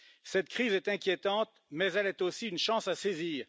Cette crise est inquiétante, mais elle est aussi une chance à saisir.